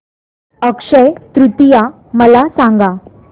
अक्षय तृतीया मला सांगा